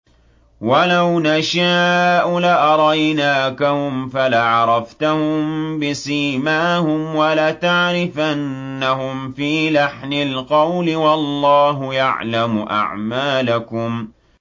وَلَوْ نَشَاءُ لَأَرَيْنَاكَهُمْ فَلَعَرَفْتَهُم بِسِيمَاهُمْ ۚ وَلَتَعْرِفَنَّهُمْ فِي لَحْنِ الْقَوْلِ ۚ وَاللَّهُ يَعْلَمُ أَعْمَالَكُمْ